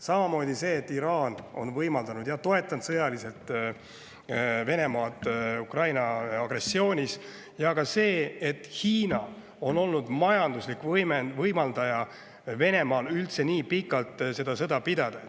Samamoodi see, et Iraan on toetanud sõjaliselt Venemaad agressioonis Ukraina vastu, ja ka see, et Hiina on majanduslikult võimaldanud Venemaal üldse nii pikalt seda sõda pidada.